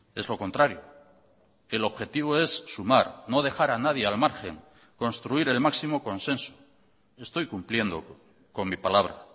es lo contrario el objetivo es sumar no dejar a nadie al margen construir el máximo consenso estoy cumpliendo con mi palabra